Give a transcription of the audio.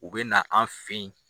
U bɛ na an fin ye.